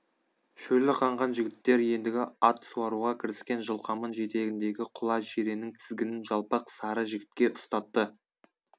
шөлі қанған жігіттер ендігі ат суаруға кіріскен жылқаман жетегіндегі құла жиреннің тізгінін жалпақ сары жігітке ұстатты